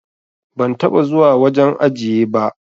Ban taba zuwa wajen ajiye ba.